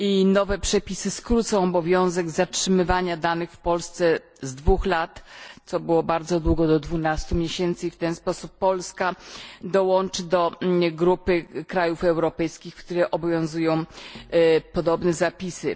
Nowe przepisy skrócą obowiązywanie wymogu zatrzymywania danych w Polsce z dwóch lat co stanowiło bardzo długi okres do dwunastu miesięcy i w ten sposób Polska dołączy do grupy krajów europejskich, które obowiązują podobne zapisy.